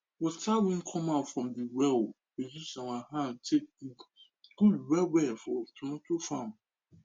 water wey come out from the well we use our hand take good well well for tomato farm